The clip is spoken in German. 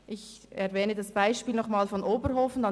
Ich erwähne das Beispiel von Oberhofen noch einmal: